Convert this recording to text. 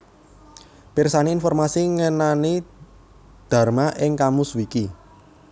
Pirsani informasi ngenani Dharma ing KamusWiki